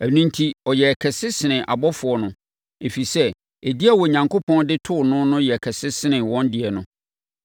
Ɛno enti, ɔyɛɛ kɛse sene abɔfoɔ no, ɛfiri sɛ, edin a Onyankopɔn de too no no yɛ kɛse sene wɔn deɛ no.